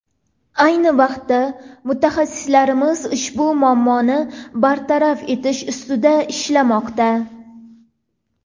Ayni vaqtda mutaxassislarimiz ushbu muammoni bartaraf etish ustida ishlashmoqda.